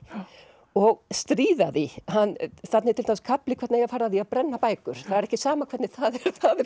og stríða því þarna er til dæmis kafli um hvernig eigi að fara að því að brenna bækur það er ekki sama hvernig það er